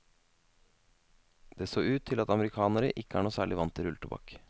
Det så ut til at amerikanere ikke er noe særlig vant til rulletobakk.